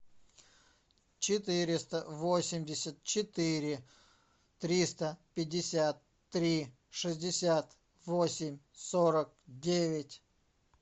четыреста восемьдесят четыре триста пятьдесят три шестьдесят восемь сорок девять